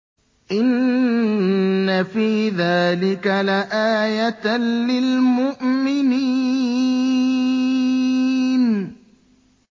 إِنَّ فِي ذَٰلِكَ لَآيَةً لِّلْمُؤْمِنِينَ